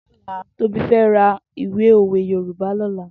Tobi fè rà ìwé ówé Yorùbá lòlà